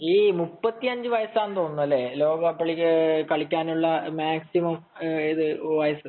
ഈ മുപ്പത്തഞ്ചു വയസ്സാണല്ലേ ഇ ലോക കപ്പു കളിക്കാനുള്ള മാക്സിമം വയസ്സ്